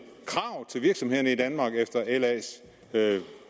krav til virksomhederne i danmark efter las